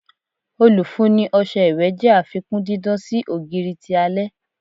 Olufunni ọṣẹ iwẹ jẹ afikun didan si ogiri ti alẹ